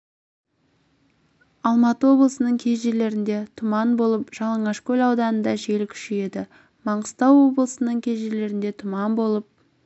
алматы облысының кей жерлерінде тұман болып жалаңашкөл ауданында жел күшейеді маңғыстау облысының кей жерлерінде тұман болып